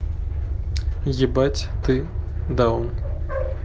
ебать ты даун